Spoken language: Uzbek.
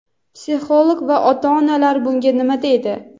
psixolog va ota-onalar bunga nima deydi?.